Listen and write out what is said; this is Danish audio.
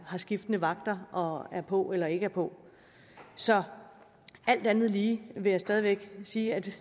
har skiftende vagter og er på eller ikke er på så alt andet lige vil jeg stadig væk sige at